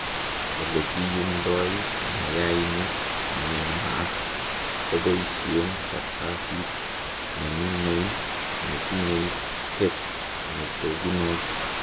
olekiyumdoi mayainik nenaat koboishen kartasit neminei netinyei tape netogunot